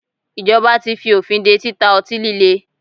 Ìjọba tí fí òfin dé títa ọtí líle.